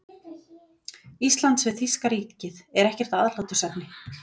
Íslands við þýska ríkið, er ekkert aðhlátursefni.